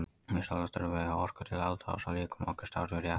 Vissulega þurfum við á orku að halda til þess að líkami okkar starfi rétt.